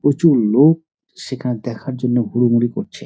প্রচুর লোক সেখানে দেখার জন্য হুড়োমুড়ি করছে।